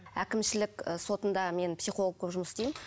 әкімшілік сотында мен психолог болып жұмыс істеймін